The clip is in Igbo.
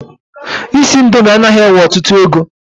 Isi indomi anaghị ewe ọtụtụ ego.